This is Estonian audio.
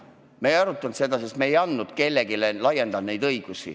Me ei arutanud seda, sest me ei andnud kellelegi neid õigusi ega laiendanud neid.